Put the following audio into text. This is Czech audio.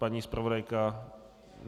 Paní zpravodajka?